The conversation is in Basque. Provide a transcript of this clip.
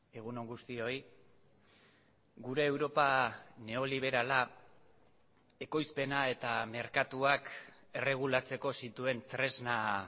egun on guztioi gure europa neoliberala ekoizpena eta merkatuak erregulatzeko zituen tresna